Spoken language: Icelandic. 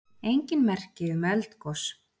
Engin merki um eldgos